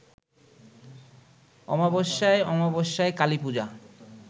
অমাবস্যায় অমাবস্যায় কালীপূজা